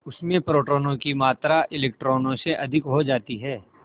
उसमें प्रोटोनों की मात्रा इलेक्ट्रॉनों से अधिक हो जाती है